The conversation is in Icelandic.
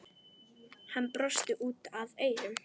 Hann brosti út að eyrum.